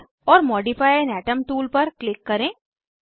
add or modify an atom tool पर click करें